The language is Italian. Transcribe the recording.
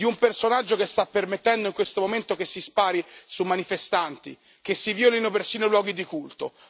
Un personaggio che sta permettendo, in questo momento, che si spari sui manifestanti, che si violino persino i luoghi di culto.